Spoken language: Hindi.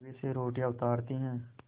तवे से रोटियाँ उतारती हैं